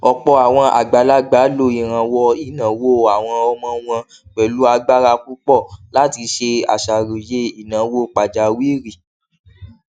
ọpọ àwọn àgbàlagbà lo ìrànwọ ináwó àwọn ọmọ wọn pẹlú agbára púpọ láti ṣe àṣàròyé ináwó pàjáwìrì